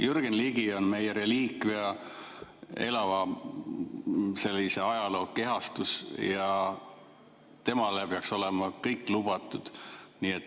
Jürgen Ligi on meie reliikvia, elava ajaloo kehastus, ja temale peaks olema kõik lubatud.